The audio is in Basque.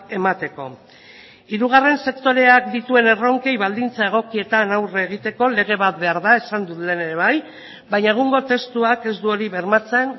emateko hirugarren sektoreak dituen erronkei baldintza egokietan aurre egiteko lege bat behar da esan dut lehen ere bai baina egungo testuak ez du hori bermatzen